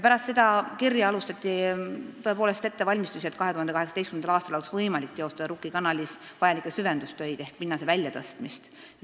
" Pärast seda kirja alustati tõepoolest ettevalmistusi, et 2018. aastal oleks võimalik teostada Rukki kanalis vajalikke süvendustöid ehk pinnase väljatõstmist.